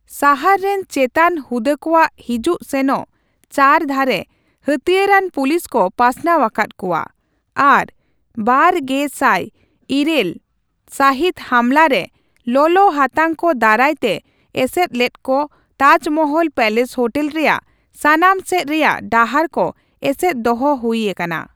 ᱥᱟᱦᱟᱨ ᱨᱮᱱ ᱪᱮᱛᱟᱱ ᱦᱩᱫᱟᱹ ᱠᱚᱣᱟᱜ ᱦᱤᱡᱩᱜ ᱥᱮᱱᱚᱜ ᱪᱟᱹᱨᱫᱷᱟᱨᱮ ᱦᱟᱹᱛᱭᱟᱹᱨ ᱟᱱ ᱯᱩᱞᱤᱥ ᱠᱚ ᱯᱟᱥᱱᱟᱣ ᱟᱠᱟᱫ ᱠᱚᱣᱟ, ᱟᱨ ᱒᱐᱐᱘ ᱥᱟᱹᱦᱤᱛ ᱦᱟᱢᱞᱟ ᱨᱮ ᱞᱚᱞᱚᱦᱟᱛᱟᱝ ᱠᱚ ᱫᱟᱨᱟᱭ ᱛᱮ ᱮᱥᱮᱫ ᱞᱮᱫ ᱠᱚ ᱛᱟᱡᱽᱢᱚᱦᱚᱞ ᱯᱮᱞᱮᱥ ᱦᱳᱴᱮᱞ ᱨᱮᱭᱟᱜ ᱥᱟᱱᱟᱢ ᱥᱮᱪ ᱨᱮᱭᱟᱜ ᱰᱟᱦᱟᱨ ᱠᱚ ᱮᱥᱮᱫ ᱫᱚᱦᱚ ᱦᱩᱭ ᱟᱠᱟᱱᱟ ᱾